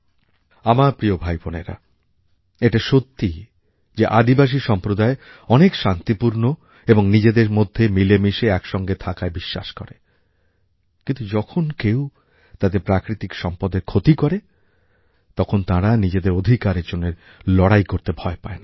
আমার প্রিয় ভাই বোনেরা এটা সত্যি যে আদিবাসী সম্প্রদায় অনেক শান্তিপূর্ণ এবং নিজেদের মধ্যে মিলেমিশে একসঙ্গে থাকায় বিশ্বাস করে কিন্তু যখন কেউ তাদের প্রাকৃতিক সম্পদের ক্ষতি করে তখন তারা নিজেদের অধিকারের জন্য লড়াই করতে ভয় পায় না